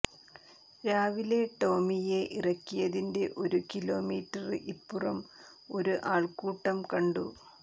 രാവിലെ ടോമിയെ ഇറക്കിയതിന്റെ ഒരു കിലോമീറ്റര് ഇപ്പുറം ഒരു ആള്ക്കൂട്ടം കണ്ടു